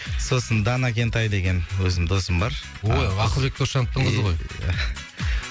сосын дана кентай деген өзім досым бар ой ақылбек досжановтың қызы ғой ия